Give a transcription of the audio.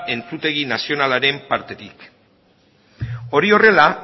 entzutegi nazionalaren partetik hori horrela